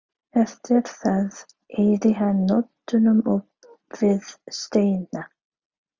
Eftir það eyddi hann nóttunum upp við steina.